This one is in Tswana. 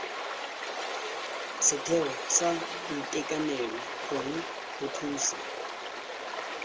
setheo sa boitekanelo gongwe bothusi